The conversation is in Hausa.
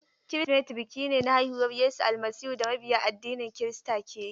Kirsimeti biki ne na haihuwar Yesu Almasihu da mabiya addinin kirista ke yi.